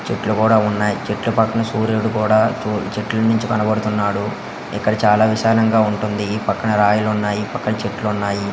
చెట్లు కూడా ఉన్నాయి. చెట్లు పక్కన సూర్యుడు కూడా చూ చెట్లు నుంచి కనబడుతున్నాడు. ఇక్కడ చాలా విశాలంగా ఉంటుంది. ఈ పక్కన రాయిలున్నాయి. ఈ పక్కన చెట్లున్నాయి.